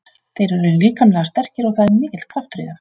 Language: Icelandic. Þeir eru líkamlega sterkir og það er mikill kraftur í þeim.